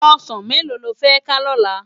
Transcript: Òsán méló ló fè ká lòlá?